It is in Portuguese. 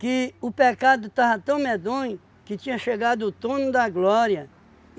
o pecado estava tão medonho que tinha chegado o turno da glória.